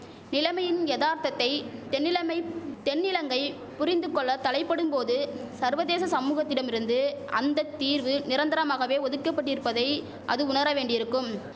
நிலைமையின் எதார்த்தத்தை தென்னிலமைப் தென்னிலங்கை புரிந்துகொள்ள தலைபடும் போது சர்வதேச சமுகத்திடமிருந்து அந்த தீர்வு நிரந்தரமாகவே ஒதுக்கபட்டிருப்பதை அது உணர வேண்டியிருக்கும்